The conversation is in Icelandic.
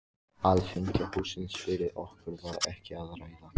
Alþingishússins fyrir okkur var ekki að ræða.